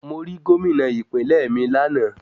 Mo rí Gómìnà ìpínlẹ̀ mi lánàá.